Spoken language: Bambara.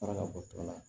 Taara ka bɔ tɔ la